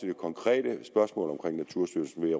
det konkrete spørgsmål om naturstyrelsen vil